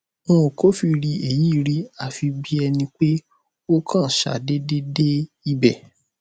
n ò kófìrí èyí rí àfi bí ẹni pé ó kàn ṣàdéédé dé ibẹ